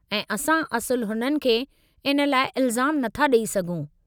ऐं असां असुलु हुननि खे इन लाइ इल्ज़ामु नथा ॾेई सघूं।